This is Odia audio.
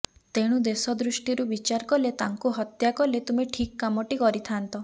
ତେଣୁ ଦେଶ ଦୃଷ୍ଟିରୁ ବିଚାର କଲେ ତାଙ୍କୁ ହତ୍ୟା କଲେ ତୁମେ ଠିକ୍ କାମଟି କରିଥାଆନ୍ତ